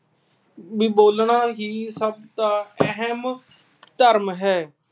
ਵੀ ਬੋਲਣਾ ਹੀ ਸਭ ਦਾ ਅਹਿਮ ਧਰਮ ਹੈ।